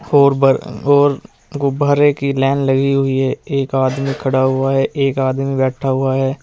और गुब्बारे की लाइन लगी हुई है एक आदमी खड़ा हुआ है एक आदमी बैठा हुआ है।